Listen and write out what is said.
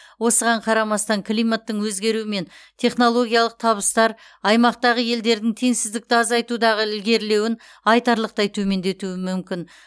осыған қарамастан климаттың өзгеруі мен технологиялық табыстар аймақтағы елдердің теңсіздікті азайтудағы ілгерілеуін айтарлықтай төмендетуі мүмкін